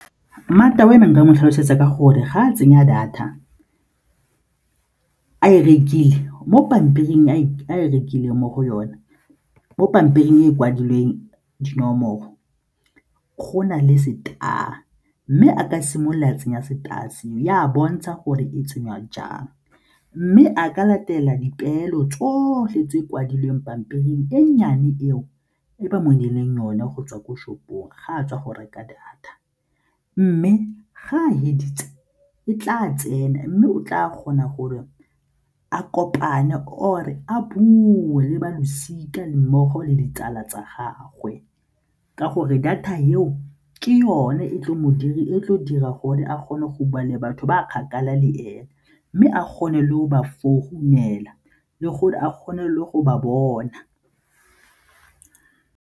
Mmata wa me nka mo tlhalosetsa ka gore ga a tsenya data a e rekile mo pampiring a e rekileng mo go yone, mo pampiring e kwadilweng dinomoro go na le star mme a ka simolola tsenya star se, e a bontsha gore e tsenywa jang mme a ka latela dipeelo tsotlhe tse di kwadilweng pampiring e nnyane eo e ba mo neileng yone go tswa ko shop-ong ga a tswa go reka data. Mme ga a feditse e tla tsena mme o tla kgona gore a kopane or-e a bua le ba losika le mmogo le ditsala tsa gagwe ka gore data eo ke yone e tlo dirang gore a kgone go bua le batho ba a kgakala le ena mme a kgone le go ba founela le gore a kgone le go ba bona.